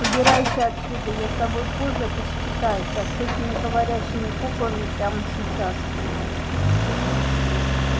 убирайся отсюда я с тобой позже посчитаюсь а с этими говорящими куклами прямо сейчас